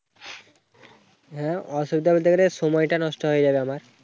হ্যাঁ, অসুবিধা বলতে গেলে সময়টা নষ্ট হয়ে যাবে আমার।